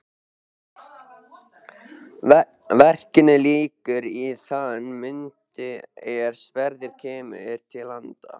Verkinu lýkur í þann mund er Sverrir kemur til landa.